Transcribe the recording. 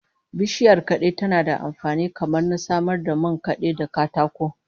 Bishiyar kade tana da amfani kamar na samar da man kade da katako